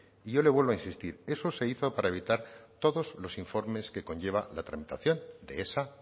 y yo le vuelvo a insistir eso se hizo para evitar todos los informes que conlleva la tramitación de esa